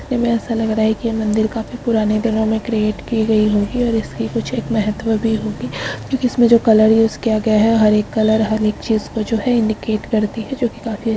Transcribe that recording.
देखने में ऐसा लग रहा है की ये मंदिर काफी पुराने दिनों में क्रिएट की गयी होगी और इसकी कुछ एक महत्तव भी होगी क्युकि इसमें जो कलर यूस किया गया है हर एक कलर हर एक चीज को जो है इंडीकेट करती है जो कि काफी --